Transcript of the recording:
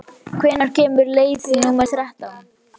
Geirmundur, hvenær kemur leið númer þrettán?